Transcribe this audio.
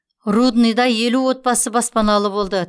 рудныйда елу отбасы баспаналы болды